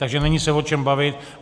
Takže není se o čem bavit.